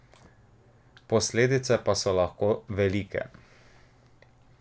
Posledice pa so lahko velike.